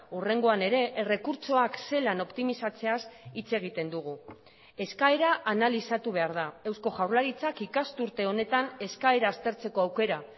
hurrengoan ere errekurtsoak zelan optimizatzeaz hitz egiten dugu eskaera analizatu behar da eusko jaurlaritzak ikasturte honetan eskaera aztertzeko aukera